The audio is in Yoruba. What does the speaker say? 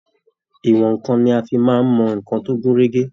Ìwọn nǹkan ni a fi máa mọ ìwọn tó gún régé.